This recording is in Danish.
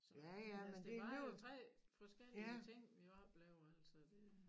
Så altså det var jo 3 forskellige ting vi oplevede altså det